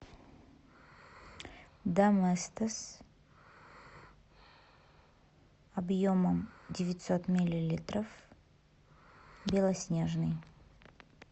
доместос объемом девятьсот миллилитров белоснежный